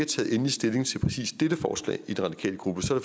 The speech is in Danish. taget endelig stilling til præcis dette forslag i den radikale gruppe